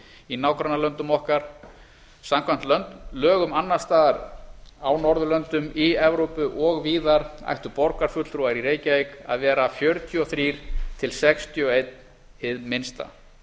í nágrannalöndum okkar samkvæmt lögum annars staðar á norðurlöndum í evrópu og víðar ættu borgarfulltrúar í reykjavík að vera fjörutíu og þrjú til sextíu og eitt hið minnsta